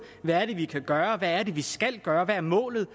hvad vi kan gøre hvad vi skal gøre hvad målet